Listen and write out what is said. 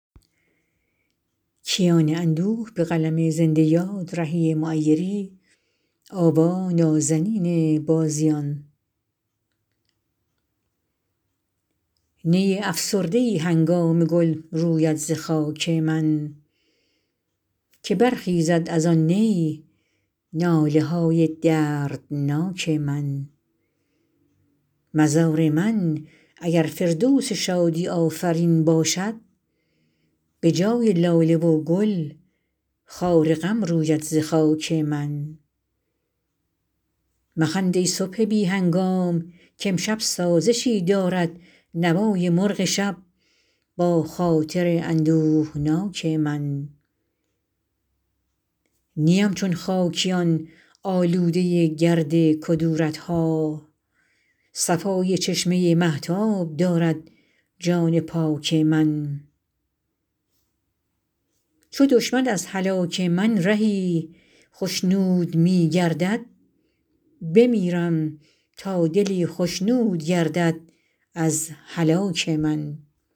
نی افسرده ای هنگام گل روید ز خاک من که برخیزد از آن نی ناله های دردناک من مزار من اگر فردوس شادی آفرین باشد به جای لاله و گل خار غم روید ز خاک من مخند ای صبح بی هنگام که امشب سازشی دارد نوای مرغ شب با خاطر اندوهناک من نیم چون خاکیان آلوده گرد کدورت ها صفای چشمه مهتاب دارد جان پاک من چو دشمن از هلاک من رهی خشنود می گردد بمیرم تا دلی خشنود گردد از هلاک من